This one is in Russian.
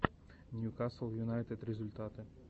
ньюкасл юнайтед результаты